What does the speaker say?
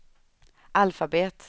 alfabet